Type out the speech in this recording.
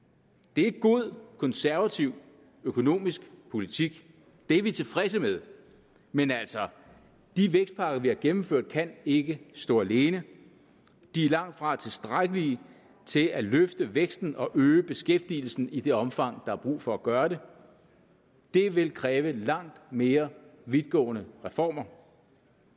det er god konservativ økonomisk politik det er vi tilfredse med men altså de vækstpakker vi har gennemført kan ikke stå alene de er langtfra tilstrækkelige til at løfte væksten og øge beskæftigelsen i det omfang der er brug for at gøre det det vil kræve langt mere vidtgående reformer